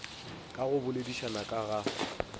ka go boledišana ka ga